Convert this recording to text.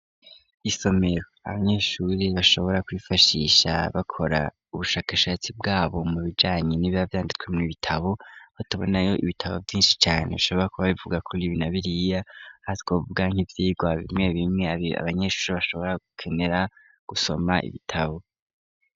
Isomero abanyeshuri bashobora kwifashisha bakora ubushakashatsi bwabo mu bijanye nibi bavyanditswe mu ibitabo batubona yo ibitabo vyinshi cane bishobora ku ba bivuga kuri ibina biriya azwa biga nk'ivyirwa bimwe bimwe abanyeshuri bashobora gukenera gusoma ibitabo.